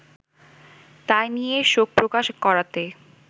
তাই নিয়ে শোকপ্রকাশ করাতে